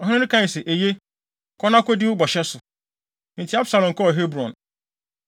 Ɔhene no kae se, “Eye, kɔ na kodi wo bɔhyɛ so.” Enti Absalom kɔɔ Hebron.